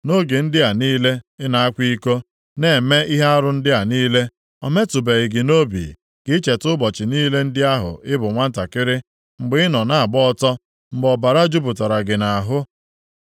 Nʼoge ndị a niile ị na-akwa iko, na-eme ihe arụ ndị a niile, o metụbeghị gị nʼobi ka i cheta ụbọchị niile ndị ahụ ị bụ nwantakịrị, mgbe ị nọ na-agba ọtọ, mgbe ọbara jupụtara gị nʼahụ.